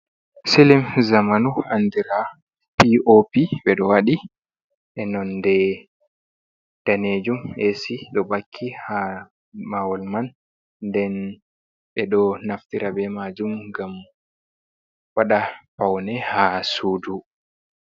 Silim zamanu andira piopi ɓe ɗo waɗi e non de danejum esi ɗo bakki ha mahol man, nden ɓe ɗo naftira be majum gam waɗa paune ha su'du.